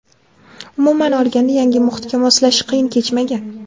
Umuman olganda, yangi muhitga moslashish qiyin kechmagan.